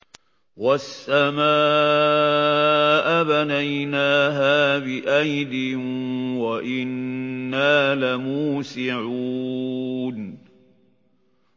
وَالسَّمَاءَ بَنَيْنَاهَا بِأَيْدٍ وَإِنَّا لَمُوسِعُونَ